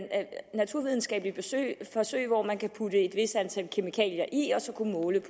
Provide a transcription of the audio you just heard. naturvidenskabelige forsøg forsøg hvor man kan putte et vist antal kemikalier i og så måle